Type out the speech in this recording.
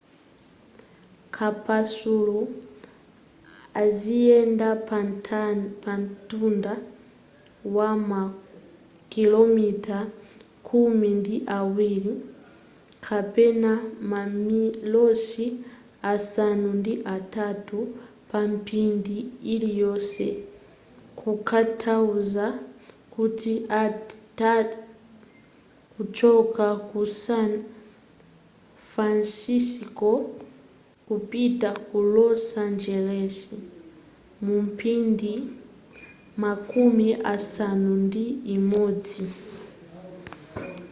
kapasulu aziyenda pa ntunda wa makilomita khumi ndi awiri kapena mamilosi asanu ndi atatu pa mphindi iliyonse kutanthauza kuti atha kuchoka ku san fansisco kupita ku los angeles mu mphindi makumi asanu ndi imodzi